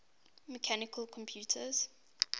mechanical computers